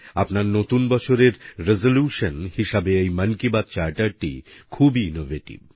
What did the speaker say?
আপনার নতুন বছরের রেসোলিউশন হিসেবে এই মন কি বাত চার্টারটি খুবই ইনোভেটিভ